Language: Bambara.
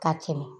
Ka tɛmɛ